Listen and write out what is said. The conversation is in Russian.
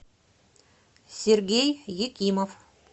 сергей екимов